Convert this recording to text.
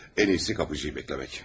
Ən iyisi qapıçıyı gözləmək.